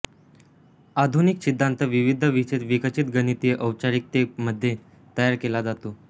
आधुनिक सिद्धांत विविध विशेष विकसित गणितीय औपचारिकतेमध्ये तयार केला जातो